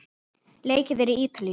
Leikið er í Ítalíu.